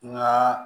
Nka